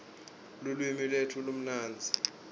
lulwimi lwetfu lumnandzi